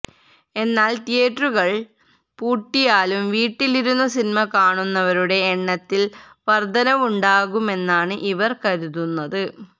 എന്നാല് തീയേറ്ററുകള് പൂട്ടിയാലും വീട്ടിലിരുന്നു സിനിമ കാണുന്നവരുടെ എണ്ണത്തില് വര്ദ്ധനവുണ്ടാകുമെന്നാണ് ഇവര് കരുതുന്നത്